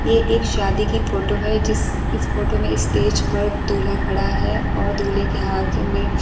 ये एक शादी की फोटो है जिस इस फोटो में स्टेज पर दूल्हा खड़ा है और दूल्हे के हाथ में --